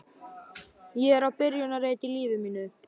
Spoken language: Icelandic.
Ég er á byrjunarreit í lífi mínu.